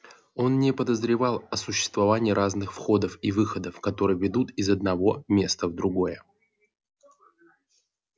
он не подозревал о существовании разных входов и выходов которые ведут из одного места в другое